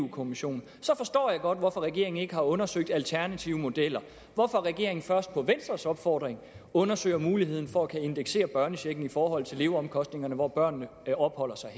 kommissionen så forstår jeg godt hvorfor regeringen ikke har undersøgt alternative modeller og hvorfor regeringen først på venstres opfordring undersøger muligheden for at kunne indeksere børnechecken i forhold til leveomkostningerne dér hvor børnene opholder sig